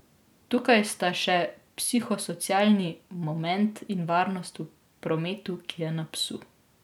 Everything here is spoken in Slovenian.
Tukaj sta še psihosocialni moment in varnost v prometu, ki je na psu.